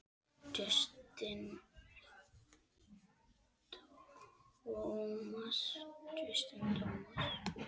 Justin Thomas